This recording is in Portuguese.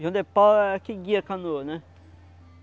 Jão de pau é que guia a canoa, né?